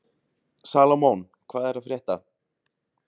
Salómon, hvað er að frétta?